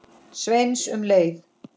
Sveins um leið.